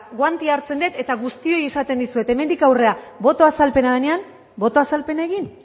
guantea hartzen dut eta guztioi esaten dizuet hemendik aurrera boto azalpena denean boto azalpena egin